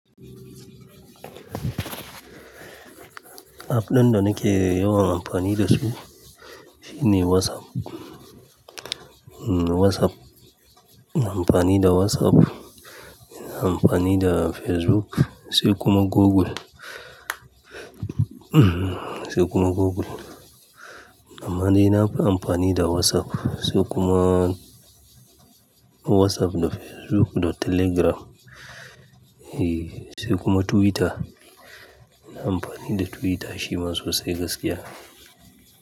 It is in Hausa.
App din da nake yawan amfani da su shine WhatsApp. WhatsApp, ina amfani da WhatsApp, ina amfani da Facebook, sai kuma Google. Sai kuma Google. Amma dai nafi amfani da WhatsApp, sai kuma WhatsApp da Facebook da Telegram, eh, sai kuma Twitter. Ina Amfani da Twitter shi ma sosai gaskiya.